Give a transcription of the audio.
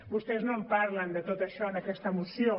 vostès no en parlen de tot això en aquesta moció